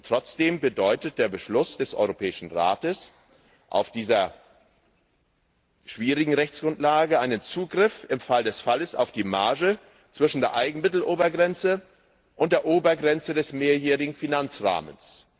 Trotzdem bedeutet der Beschluss des Europäischen Rates auf dieser schwierigen Rechtsgrundlage einen Zugriff im Fall des Falles auf die Marge zwischen der Eigenmittelobergrenze und der Obergrenze des Mehrjährigen Finanzrahmens.